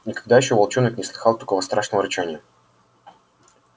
никогда ещё волчонок не слыхал такого страшного рычания